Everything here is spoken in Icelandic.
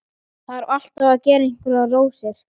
Þarf alltaf að gera einhverjar rósir.